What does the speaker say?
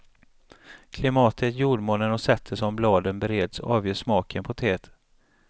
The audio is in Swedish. Klimatet, jordmånen och sättet som bladen bereds avgör smaken på teet.